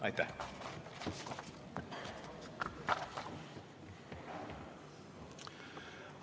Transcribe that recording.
Aitäh!